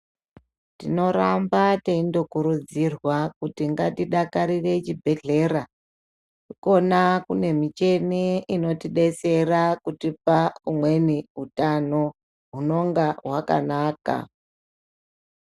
Tinoramba teindokurudzirwa kuti ngatidakarire chibhedhlera. Ikona kune micheni inotidetsera kutipa umweni utano hunonga hwakanaka.